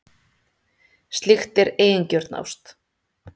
Slíkt er eigingjörn ást.